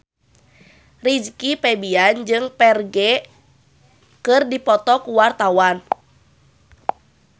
Rizky Febian jeung Ferdge keur dipoto ku wartawan